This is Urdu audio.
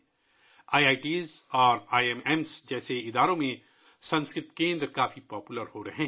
آئی آئی ٹی اور آئی آئی ایم جیسے اداروں میں سنسکرت کے مراکز بہت مقبول ہو رہے ہیں